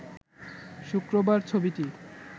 শুক্রবার ছবিটি